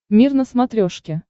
мир на смотрешке